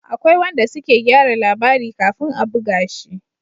Akwai wanda suke gyara labari kafin a buga shi